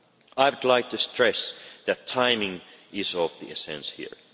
I would like to stress that timing is of the essence here.